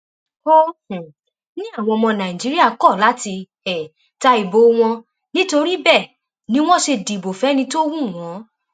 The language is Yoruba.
ó um ní àwọn ọmọ nàìjíríà kọ láti um ta ìbò wọn nítorí bẹẹ ni wọn ṣe dìbò fẹni tó wù wọn